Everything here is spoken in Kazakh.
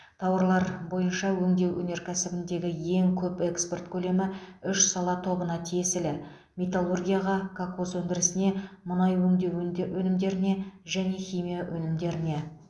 тауарлар бойынша өңдеу өнеркәсібіндегі ең көп экспорт көлемі үш сала тобына тиесілі металлургияға кокос өндірісіне мұнай өңдеу өнде өнімдеріне және химия өнімдеріне